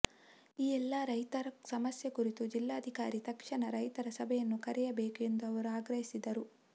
ಈ ಎಲ್ಲಾ ರೈತರ ಸಮಸ್ಯೆ ಕುರಿತು ಜಿಲ್ಲಾಧಿಕಾರಿ ತಕ್ಷಣ ರೈತರ ಸಭೆಯನ್ನು ಕರೆಯಬೇಕು ಎಂದು ಅವರು ಆಗ್ರಹಿಸಿದರು